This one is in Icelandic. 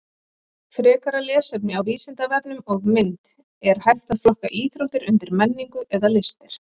Frekara lesefni á Vísindavefnum og mynd Er hægt að flokka íþróttir undir menningu eða listir?